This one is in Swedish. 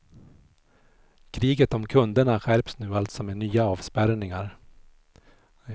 Kriget om kunderna skärps nu alltså med nya avspärrningar.